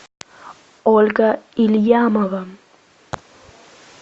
ольга ильямова